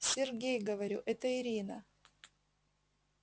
сергей говорю это ирина